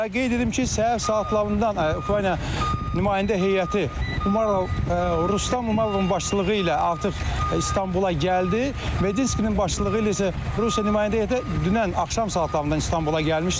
Və qeyd edim ki, səhər saatlarından Ukrayna nümayəndə heyəti Umalov, Rustam Umalovun başçılığı ilə artıq İstanbula gəldi, Medinskinin başçılığı ilə isə Rusiya nümayəndə heyəti dünən axşam saatlarından İstanbula gəlmişdi.